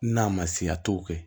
N'a ma siya t'o kɛ